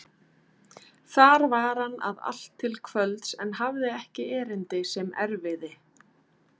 Þar var hann að allt til kvölds en hafði ekki erindi sem erfiði.